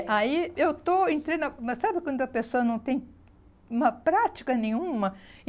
É, aí eu estou entrando... mas sabe quando a pessoa não tem uma prática nenhuma?